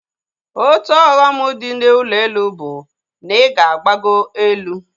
Otu ọghọm dị na ụlọ elu bụ na ịga na-agbago elu